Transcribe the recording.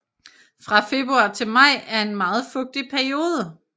Fra februar til maj er en meget fugtig periode